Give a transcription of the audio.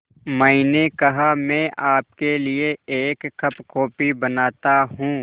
मैंने कहा मैं आपके लिए एक कप कॉफ़ी बनाता हूँ